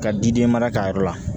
Ka di den mara ka yɔrɔ la